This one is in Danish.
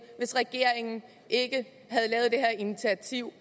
hvis regeringen ikke havde lavet det her initiativ